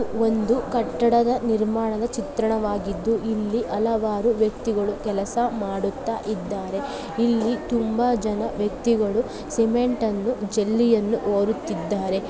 ಒಂದು ಕಟ್ಟಡದ ನಿರ್ಮಾಣದ ಚಿತ್ರಣವಾಗಿದ್ದು ಇಲ್ಲಿ ಹಲವಾರು ವ್ಯಕ್ತಿಗಳು ಕೆಲಸ ಮಾಡುತ್ತ ಇದ್ದಾರೆ. ಇಲ್ಲಿ ತುಂಬಾ ಜನ ವ್ಯಕ್ತಿಗಳು ಸಿಮೆಂಟ್ ಅನ್ನು ಜೆಲ್ಲಿಯನ್ನು ಹೊರುತ್ತಿದ್ದಾರೆ.